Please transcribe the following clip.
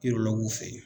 Yɔrɔ k'u fɛ yen